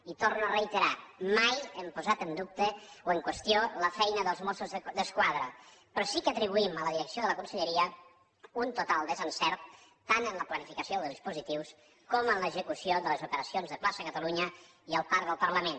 i ho torno a reiterar mai hem posat en dubte o en qüestió la feina dels mossos d’esquadra però sí que atribuïm a la direcció de la conselleria un total desencert tant en la planificació dels dispositius com en l’execució de les operacions de plaça catalunya i el parc del parlament